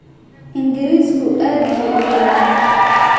Ingiriisku aad buu u dhibaa